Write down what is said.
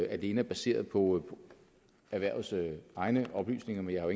alene er baseret på erhvervets egne oplysninger men jeg har